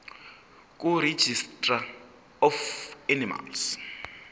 kuregistrar of animals